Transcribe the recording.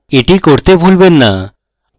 এটি করতে ভুলবেন না